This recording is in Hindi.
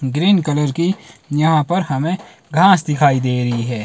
ग्रीन कलर की यहां पर हमें घास दिखाई दे रही है।